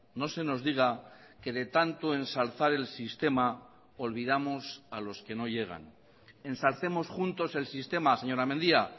no se nos diga que de tanto ensalzar el sistema olvidamos a los que no llegan ensalcemos juntos el sistema señora mendia